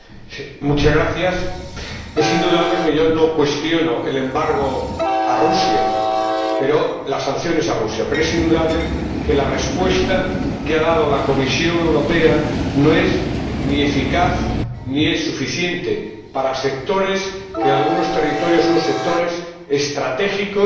Señora Presidenta, es indudable que yo no cuestiono el embargo a Rusia, las sanciones a Rusia, pero es indudable que la respuesta que ha dado la Comisión Europea no es ni eficaz ni suficiente para sectores que, en algunos territorios, son sectores estratégicos